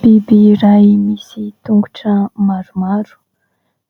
Biby ray misy tongotra maromaro